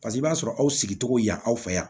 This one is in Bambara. Paseke i b'a sɔrɔ aw sigicogo y'an fɛ yan